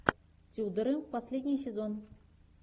тюдоры последний сезон